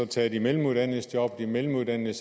tage de mellemuddannedes job de mellemuddannede